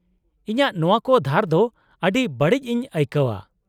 -ᱤᱧᱟᱹᱜ ᱱᱚᱶᱟ ᱠᱚ ᱫᱷᱟᱨ ᱫᱚ ᱟᱹᱰᱤ ᱵᱟᱲᱤᱡ ᱤᱧ ᱟᱹᱭᱠᱟᱹᱣᱼᱟ ᱾